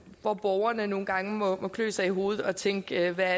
hvor borgerne nogle gange må klø sig i hovedet og tænke hvad er